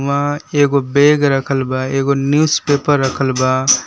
आ एगो बेग रखल बा एगो न्यूज पेपर रखल बा।